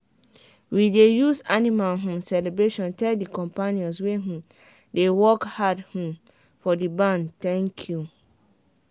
we dey use animal um celebration tell the companions wey um dey work hard um for the barn "thank you".